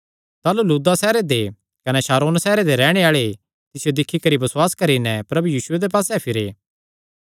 ताह़लू लुद्दा सैहरे दे कने शारोन सैहरे दे सारे रैहणे आल़े तिसियो दिक्खी करी बसुआस करी नैं प्रभु यीशुये दे पास्से फिरे